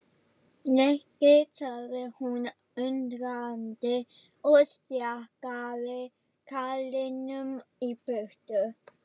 Nikki sagði hún undrandi og stjakaði karlinum í burtu.